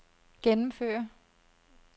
gennemføre